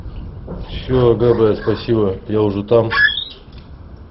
все да да спасибо я уже там